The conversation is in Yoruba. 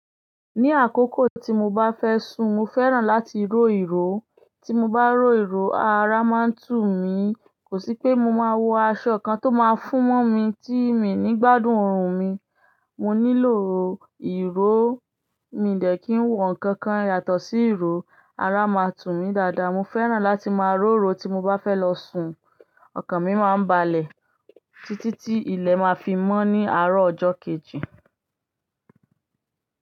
Ní àkókò tí mo bá fẹ́ sùn, mo fẹ́ràn láti ró ìró. Tí mo bá ró ìró, ara máa ń tù mí. Kò sí pé mo máa wọ aṣọ kan tó máa fún mó mi tí mi ní gbádùn orun mi. Mo nílò ìró, mi dẹ̀ kí ń wọ nǹkan kan yàtọ̀ sí ìró, ara máa tù mí dáadáa. Mo fẹ́ràn láti máa ró ìró tí mo bá fẹ́ lọ sùn. Ọkàn mi máa ń balẹ̀ títí tí ilẹ̀ máa fi mọ́ ní àárọ̀ ọjọ́ kejì.